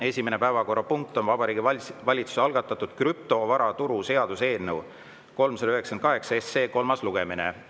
Esimene päevakorrapunkt on Vabariigi Valitsuse algatatud krüptovaraturu seaduse eelnõu 398 kolmas lugemine.